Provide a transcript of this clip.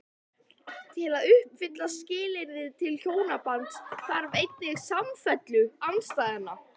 Til að uppfylla skilyrði til hjónabands þarf einnig samfellu andstæðnanna.